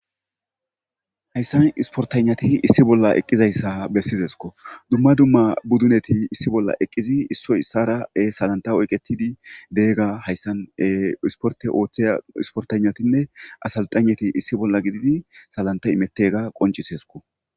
Hayssan isportanati issi bolla eqqizayssa bessizesko dumma dumma budduneti issi bolla eqqizi issoy issara salanta oyqetidi deegga hayssan isporte ooththeya isportanatinne asalxaneti issi bolla gididi salanta imettega qoncisesko.